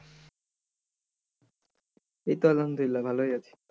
এই তো আলহামদুলিল্লাহ ভালোই আছি।